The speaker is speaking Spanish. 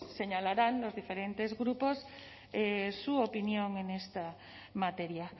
señalarán los diferentes grupos su opinión en esta materia